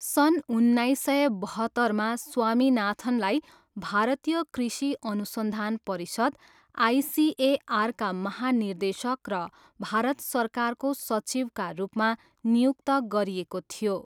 सन् उन्नाइस सय बहत्तरमा स्वामीनाथनलाई भारतीय कृषि अनुसन्धान परिषद, आइसिएआरका महानिर्देशक र भारत सरकारको सचिवका रूपमा नियुक्त गरिएको थियो।